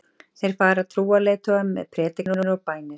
Þar fara trúarleiðtogar með predikanir og bænir.